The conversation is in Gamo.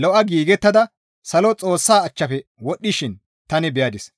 lo7a giigettada salo Xoossaa achchafe wodhdhishin tani beyadis.